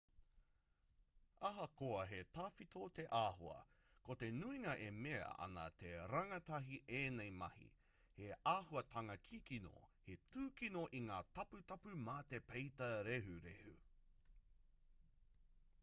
ahakoa he tawhito te āhua ko te nuinga e mea ana nā te rangatahi ēnei mahi he āhuatanga kikino he tūkino i ngā taputapu mā te peita rehurehu